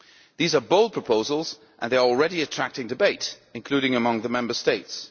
These are bold proposals and they are already attracting debate, including among the Member States.